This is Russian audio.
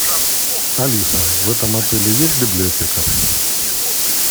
алиса в этом отеле есть библиотека